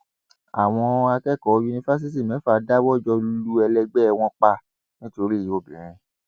àwọn akẹkọọ yunifásitì mẹfà dáwọ jọ lu ẹlẹgbẹ wọn pa nítorí obìnrin